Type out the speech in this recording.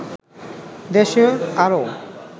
দেশের আরও